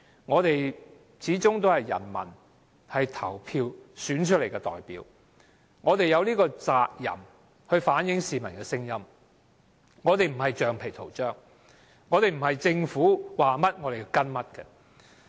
我們始終是人民投票選出來的代表，我們有責任反映市民的聲音，我們不是橡皮圖章，不是政府說甚麼便跟隨。